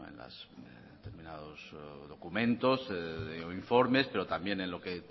en determinados documentos o informes pero también en lo que